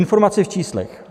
Informace v číslech.